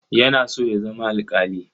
Yana so ya zama alƙali.